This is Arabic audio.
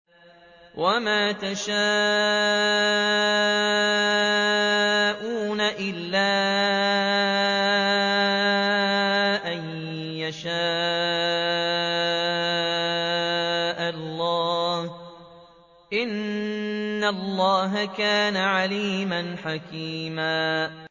وَمَا تَشَاءُونَ إِلَّا أَن يَشَاءَ اللَّهُ ۚ إِنَّ اللَّهَ كَانَ عَلِيمًا حَكِيمًا